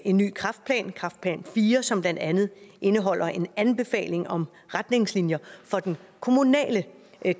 en ny kræftplan kræfplan iv som blandt andet indeholder en anbefaling om retningslinjer for den kommunale